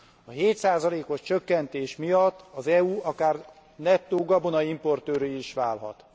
A 7 os csökkentés miatt az EU akár nettó gabonaimportőrré is válhat.